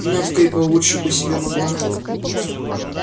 навка и получше бы себе могла